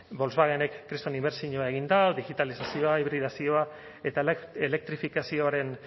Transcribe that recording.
volkswagenek kriston inbertsioa egin du digitalizazioa hibridazioa eta elektrifikazioaren